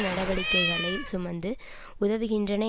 நடவடிக்கைகளை சுமந்து உதவுகின்றன